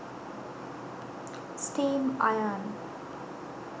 steam iron